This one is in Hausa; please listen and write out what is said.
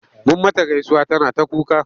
Mun mata gaisuwa tana ta kuka.